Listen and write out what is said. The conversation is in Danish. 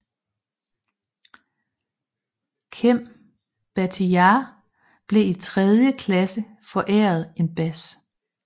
Cem Bahtiyar blev i tredje klasse foræret en bas